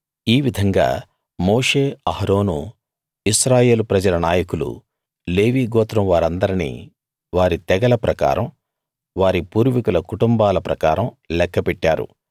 ఈ విధంగా మోషే అహరోనూ ఇశ్రాయేలు ప్రజల నాయకులూ లేవీ గోత్రం వారిందర్నీ వారి తెగల ప్రకారం వారి పూర్వీకుల కుటుంబాల ప్రకారం లెక్క పెట్టారు